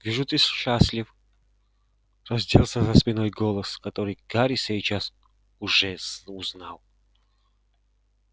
вижу ты счастлив раздался за спиной голос который гарри сейчас же узнал